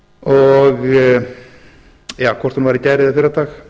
og hvort hún var í gær eða fyrradag